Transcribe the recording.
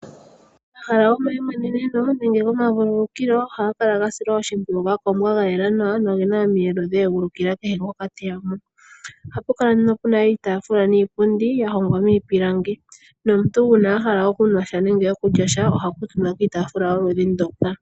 Omahala gomayimweneneno nenge gomavululukilo ohaga kala ga silwa oshimpwiyu ga kombwa ga yela nawa, noge na omiyelo dha egulukila kehe ngoka te ya mo. Ohapu kala nduno pu na iitaafula niipundi ya hongwa miipilangi, nomuntu uuna a hala okunwa sha nenge okulya sha, oha kuutumba kiitaafula yokudhi ndoka.